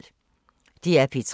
DR P3